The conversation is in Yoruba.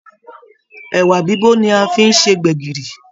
Ẹwà bibo ni a fi n se gbẹ̀gìrì.